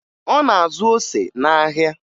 Ọ na-azụ ose n'ahịa